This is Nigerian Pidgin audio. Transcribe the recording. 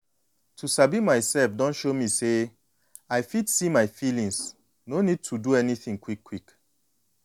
to sabi myself don show me say i fit see my feelings no need to do anything quick-quick.